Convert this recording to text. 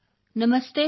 ਨਮਸਤੇ sir